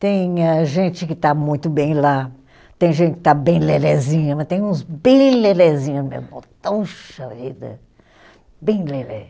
Tem a gente que está muito bem lá, tem gente que está bem lelézinha, mas tem uns bem lelézinho mesmo, vida, bem lelé.